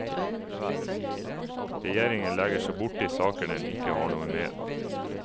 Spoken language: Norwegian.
Regjeringen legger seg borti saker den ikke har noe med.